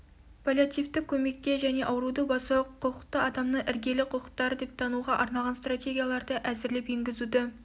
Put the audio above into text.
паллиативтік көмекке және ауруды басуға құқықты адамның іргелі құқықтары деп тануға арналған стратегияларды әзірлеп енгізуді